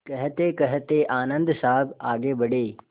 कहतेकहते आनन्द साहब आगे बढ़े